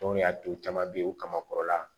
Don y'a du caman bɛ yen, u kamakɔrɔ la.